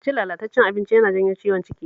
Cin lalatacced abinci yana janyo ciwon ciki